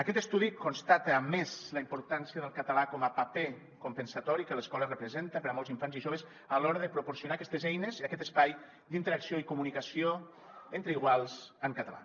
aquest estudi constata a més la importància del català com a paper compensatori que l’escola representa per a molts infants i joves a l’hora de proporcionar aquestes eines i aquest espai d’interacció i comunicació entre iguals en català